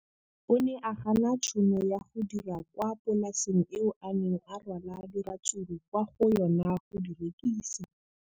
O ne a gana tšhono ya go dira kwa polaseng eo a neng rwala diratsuru kwa go yona go di rekisa.